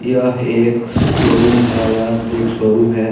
यह एक शोरूम है यह एक शोरूम है।